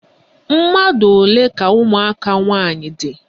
Mmadụ olee ka ụmụaka nwaanyị dị?